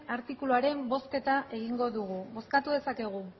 artikuluaren bozketa egingo dugu bozkatu dezakegu